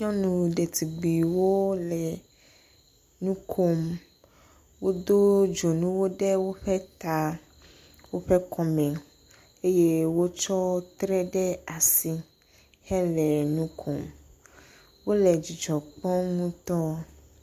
Nyɔnu detugbiwo le nu kom. Wodo dzonuwo ɖe woƒe ta, woƒe kɔm, eye wotsɔ tre ɖe asi hele nu kom. Wole dzidzɔ kpɔm ŋutɔ.